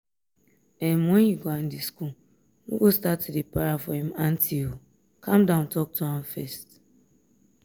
um when you go andy school no go start to dey para for im aunty calm down talk to am first